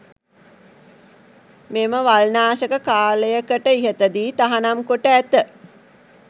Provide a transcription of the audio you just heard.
මෙම වල් නාශක කාලයකට ඉහතදී තහනම් කොට ඇත.